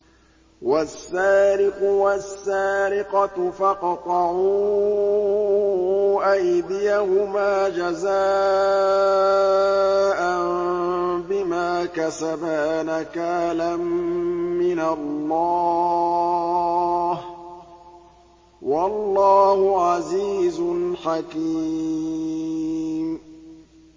وَالسَّارِقُ وَالسَّارِقَةُ فَاقْطَعُوا أَيْدِيَهُمَا جَزَاءً بِمَا كَسَبَا نَكَالًا مِّنَ اللَّهِ ۗ وَاللَّهُ عَزِيزٌ حَكِيمٌ